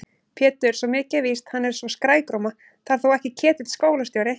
Pétur, svo mikið er víst, hann er svo skrækróma. það er þó ekki Ketill skólastjóri?